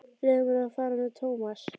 Leyfðu mér að fara með Thomas.